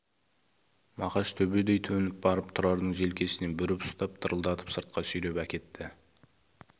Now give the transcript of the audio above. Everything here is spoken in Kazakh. мақаш төбедей төніп барып тұрардың желкесінен бүріп ұстап дырылдатып сыртқа сүйреп әкетті